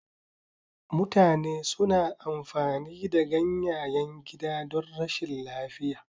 Mutane suna amfani da ganyayen gida don rashin lafiya.